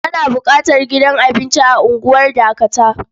Ana buƙatar gidan abinci a unguwar Dakata.